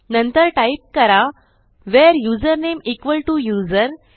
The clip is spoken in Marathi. नंतर टाईप करा where username equal to user